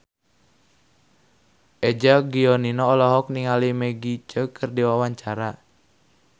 Eza Gionino olohok ningali Maggie Cheung keur diwawancara